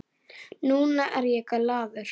Núna er ég glaður.